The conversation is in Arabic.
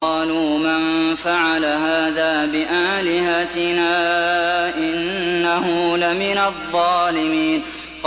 قَالُوا مَن فَعَلَ هَٰذَا بِآلِهَتِنَا إِنَّهُ لَمِنَ الظَّالِمِينَ